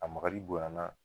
A makari bonya na.